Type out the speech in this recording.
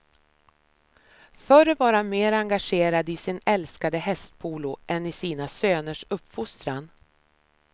Förr var han mer engagerad i sin älskade hästpolo än i sina söners uppfostran.